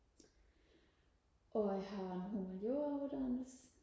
og jeg har en humaniora uddannelse